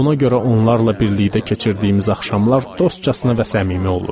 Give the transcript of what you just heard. Buna görə onlarla birlikdə keçirdiyimiz axşamlar dostcasına və səmimi olurdu.